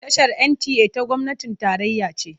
Tashar NTA ta gwamnatin tarayya ce.